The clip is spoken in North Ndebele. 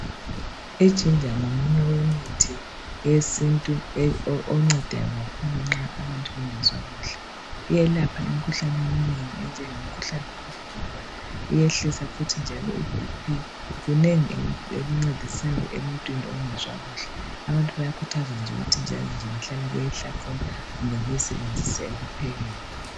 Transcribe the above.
Ijinja ngomunye wemithi wesintu oncedayo kakhulu nxa abantu bengezwa kuhle iyelapha imkhuhlane eminengi enjengomkhuhlane wofuba iyehlisa futhi njalo ibhiphi kunengi ekuncedisayo emuntwini ongezwa kuhle abantu bayakhuthazwa ukuthi njalonje behlale beyihlafuna kumbe bayisebenzise ekuphekeni